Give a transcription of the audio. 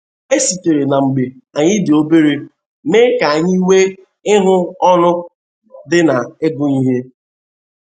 E sitere na mgbe anyị dị obere mee ka anyị nwee ihu ọńụ di na ịgụ ihe.